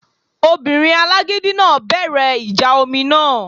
Obìnrin alágídí náà bẹ̀rẹ̀ ìjà omi náà